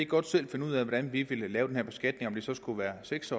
godt selv finde ud af hvordan vi vil lave den her beskatning uanset om det så skulle være seks